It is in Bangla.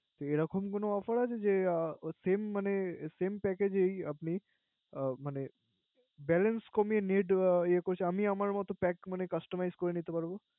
এরকম কোন Offer আছে। যে Same মানে Same package এই আপনি Balance কমিয়ে Net ইয়া। আমি আমার মত Pack ফোনে customize করে নিতে পারবো।